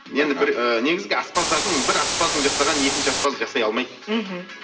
енді бір і негізгі аспаздардың бір аспаздың жасағанын екінші аспаз жасай алмайды мхм